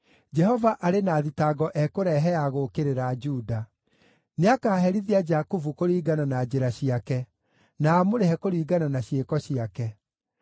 Jehova arĩ na thitango ekũrehe ya gũũkĩrĩra Juda; nĩakaherithia Jakubu kũringana na njĩra ciake, na amũrĩhe kũringana na ciĩko ciake.